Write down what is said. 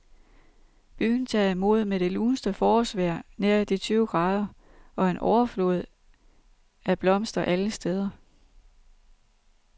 Byen tager imod med det luneste forårsvejr nær de tyve grader og en overflod af blomster alle steder.